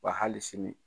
Wa hali sini